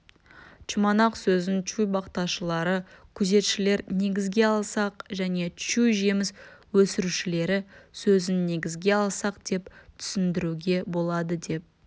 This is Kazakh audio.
чуманақ сөзін чуй бақташылары күзетшілер негізге алсақ және чуй жеміс өсірушілері сөзін негізге алсақ деп түсіндіруге болады деп